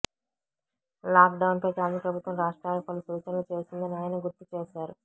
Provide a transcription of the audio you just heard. లాక్డౌన్పై కేంద్ర ప్రభుత్వం రాష్ట్రాలకు పలు సూచనలు చేసిందని ఆయన గుర్తు చేశారు